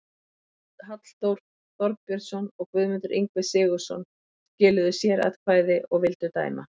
Halldór Þorbjörnsson og Guðmundur Ingvi Sigurðsson skiluðu sératkvæði og vildu dæma